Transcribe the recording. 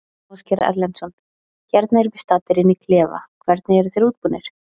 Ásgeir Erlendsson: Hérna erum við staddir inn í klefa, hvernig eru þeir útbúnir?